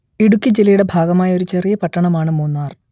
ഇടുക്കി ജില്ലയുടെ ഭാഗമായ ഒരു ചെറിയ പട്ടണമാണ് മൂന്നാർ